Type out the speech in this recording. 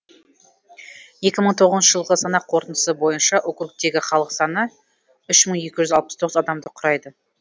екі мың тоғызыншы жылғы санақ қорытындысы бойынша округтегі халық саны үш мың екі жүз алпыс тоғыз адамды құрайды